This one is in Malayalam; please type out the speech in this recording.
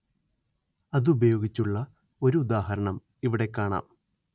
അത് ഉപയോഗിച്ചുള്ള ഒരു ഉദാഹരണം ഇവിടെ കാണാം